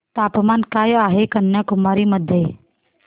तापमान काय आहे कन्याकुमारी मध्ये